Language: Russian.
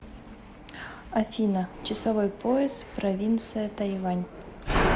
афина часовой пояс провинция тайвань